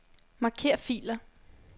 Marker filer.